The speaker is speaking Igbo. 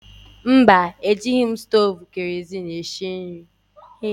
Mba, ejighị m stovu kerozin esi nri.